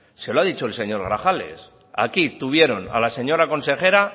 se lo ha dicho el señor grajales aquí tuvieron a la señora consejera